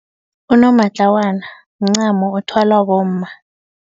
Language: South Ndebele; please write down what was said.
Unomatlawana umncamo othwala bomma.